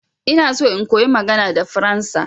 Ina so in koyi magana da faransa.